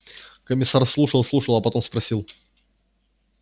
комиссар слушал слушал а потом спросил